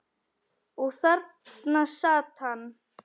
Og þarna sat hann.